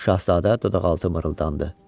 Şahzadə dodaqaltı mırıldandı: